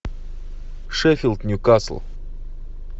шеффилд ньюкасл